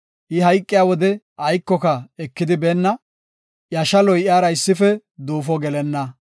I hayqiya wode aykoka ekidi beenna; iya shaloy iyara issife duufo gelenna.